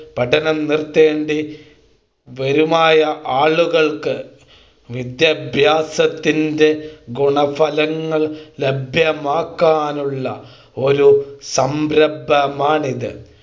പഠനം നിർത്തേണ്ടി വരുമായ ആളുകൾക്ക് വിദ്യാഭ്യാസത്തിൻ്റെ ഗുണഫലങ്ങൾ ലഭ്യമാക്കാനുള്ള ഒരു സംരംഭമാണിത്